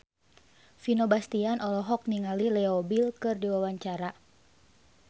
Vino Bastian olohok ningali Leo Bill keur diwawancara